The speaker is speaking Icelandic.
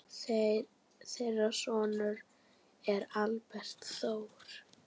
Þeirra sonur er Albert Þór.